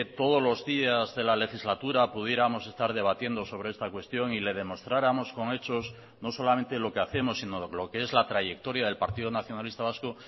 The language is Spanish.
todos los días de la legislatura pudiéramos estar debatiendo sobre esta cuestión y le demostráramos con hechos no solamente lo que hacemos sino lo que es la trayectoria del partido nacionalista vasco